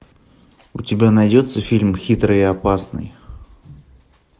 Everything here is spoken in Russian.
у тебя найдется фильм хитрый и опасный